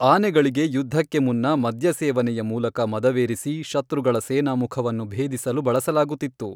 ಆನೆಗಳಿಗೆ ಯುದ್ಧಕ್ಕೆ ಮುನ್ನ ಮದ್ಯಸೇವನೆಯ ಮೂಲಕ ಮದವೇರಿಸಿ ಶತ್ರುಗಳ ಸೇನಾಮುಖವನ್ನು ಭೇದಿಸಲು ಬಳಸಲಾಗುತ್ತಿತ್ತು.